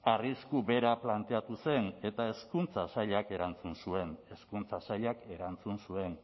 arrisku bera planteatu zen eta hezkuntza sailak erantzun zuen hezkuntza sailak erantzun zuen